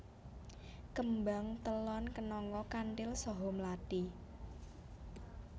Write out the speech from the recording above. Kembang telon kenanga kanthil saha mlathi